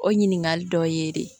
O ɲininkali dɔ ye de ye